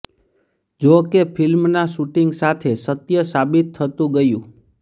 જો કે ફિલ્મના શુટિંગ સાથે સત્ય સાબિત થતું ગયું